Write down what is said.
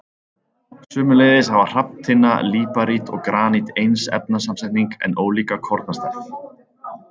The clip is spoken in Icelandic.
Sömuleiðis hafa hrafntinna, líparít og granít eins efnasamsetning en ólíka kornastærð.